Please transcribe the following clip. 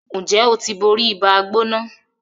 Njé o tí bóri Ibàá-gbóná?